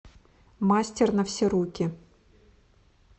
мастер на все руки